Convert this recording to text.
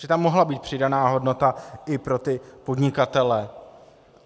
Že tam mohla být přidaná hodnota i pro ty podnikatele.